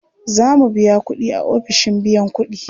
Za mu biya kuɗi a ofishin biyan kuɗi.